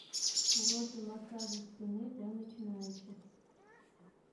уроки массажа спины для начинающих